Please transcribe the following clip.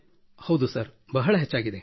ಹೌದು ಸರ್ ಬಹಳ ಹೆಚ್ಚಾಗಿದೆ